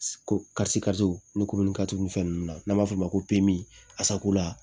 Ko ni ninnu na n'an b'a f'o ma ko asacola